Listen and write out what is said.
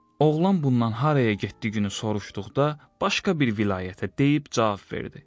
Oğlan bundan haraya getdiyini soruşduqda, başqa bir vilayətə deyib cavab verdi.